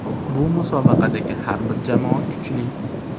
Bu musobaqadagi har bir jamoa kuchli.